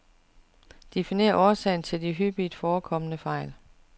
Definer årsagen til de hyppigt forekommende fejl.